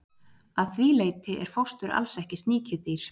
að því leyti er fóstur alls ekki sníkjudýr